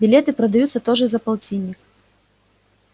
билеты продаются тоже за полтинник